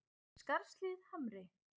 Skarðshlíð Hamri